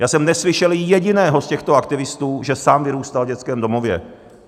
Já jsem neslyšel jediného z těchto aktivistů, že sám vyrůstal v dětském domově.